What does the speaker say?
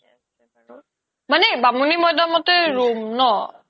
থিকে আছে বাৰু মানে বামুনিমইদামতে room ন